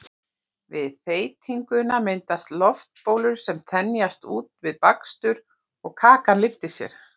við þeytinguna myndast loftbólur sem þenjast út við bakstur og kakan lyftir sér